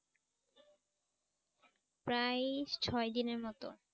প্রায় ছয় দিনের মত ।